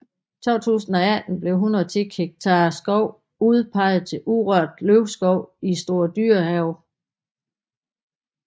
I 2018 blev 110 hektar skov udpeget til urørt løvskov i Store Dyrehave